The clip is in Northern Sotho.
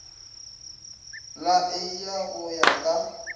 la eia go ya ka